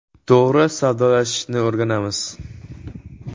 To‘g‘ri savdolashishni o‘rganamiz.